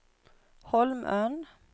Holmön